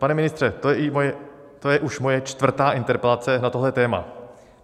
Pane ministře, to je už moje čtvrtá interpelace na tohle téma.